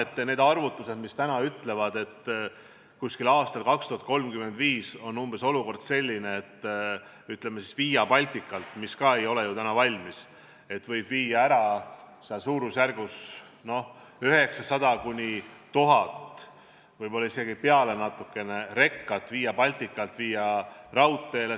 Tänased arvutused ütlevad, et 2035. aasta paiku on olukord umbes selline, et Via Balticalt – mis ka ju ei ole veel valmis – saab raudteele suunata 900–1000 rekat, võib-olla isegi natuke rohkem.